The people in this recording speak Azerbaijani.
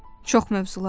Çox mövzular var.